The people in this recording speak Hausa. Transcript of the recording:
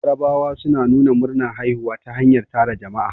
Yarabawa suna nuna murnar haihuwa ta hanyar tara jama'a